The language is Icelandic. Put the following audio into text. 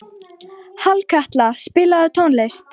Hallkatla, spilaðu tónlist.